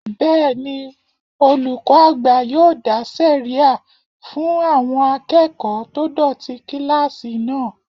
Bẹ́ẹ̀ni, olùkọ́ àgbà yóò dá sẹ̀ríyà fún àwọn akẹ́kọ̀ọ́ tó dọ̀tí kílásì náà